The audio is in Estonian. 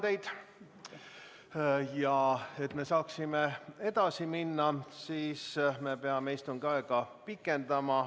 Selleks, et me saaksime edasi minna, peame istungit pikendama.